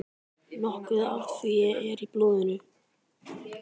Nokkuð af því er í blóðinu.